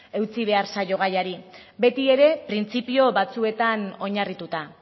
eutsi behar zaio gaiari betiere printzipio batzuetan oinarrituta